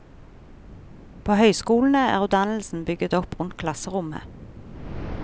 På høyskolene er utdannelsen bygget opp rundt klasserommet.